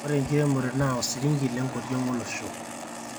ore enkiremore naa osiringi lenkoriong olosho